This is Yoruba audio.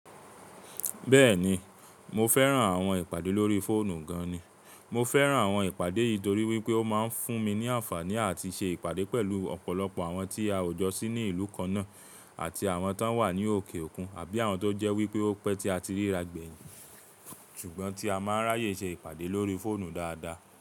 Bẹ́ẹ̀ni, mo fẹ́ràn àwọn ìpàdé lórí fóònù gan ni. Mo fẹ́ràn àwọn ìpàdé yìí torí wípé ó máa ń fún mi ní àǹfààní àti ṣe ìpàdé pẹ̀lú ọ̀pọ̀lọpọ̀ àwọn tí a ò jọ sí ní ìlú kan náà àti àwọn tó wà ní òkè òkun àbí àwọn tó jẹ́ wípé ó pẹ́ tí a ti ríra gbẹ̀yìn. Ṣùgbọ́n tí a máa ń ráyè ṣe ìpàdé lórí fóònù dáadáa.